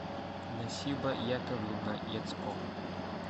насиба яковлевна яцко